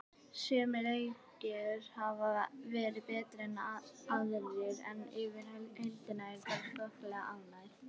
Sumir leikir hafa verið betri en aðrir en yfir heildina er ég bara þokkalega ánægð.